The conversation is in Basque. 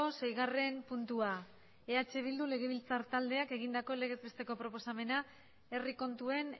seigarren puntua eh bildu legebiltzar taldeak egindako legez besteko proposamena herri kontuen